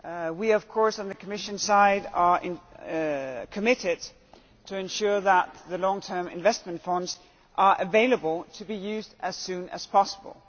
We, of course, on the Commission side are committed to ensuring that the Long-term Investment Funds are available to be used as soon as possible.